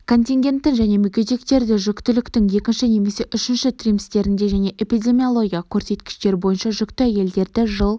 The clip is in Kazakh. контингентін және мүгедектерді жүктіліктің екінші немесе үшінші триместрінде және эпидемиологиялық көрсеткіштер бойынша жүкті әйелдерді жыл